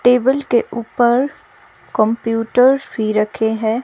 Table के ऊपर computer भी रखे हैं.